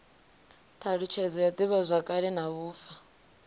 thalutshedzo ya divhazwakale na vhufa